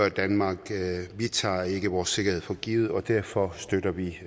i danmark vi tager ikke vores sikkerhed for givet og derfor støtter vi